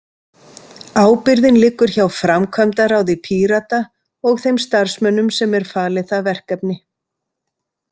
Ábyrgðin liggur hjá framkvæmdaráði Pírata og þeim starfsmönnum sem er falið það verkefni.